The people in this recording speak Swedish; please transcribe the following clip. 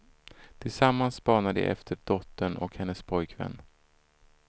Tillsammans spanar de efter dottern och hennes pojkvän.